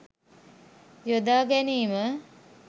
යොදා ගැනීම.